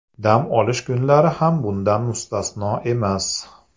Dam olish kunlari ham bundan mustasno emas.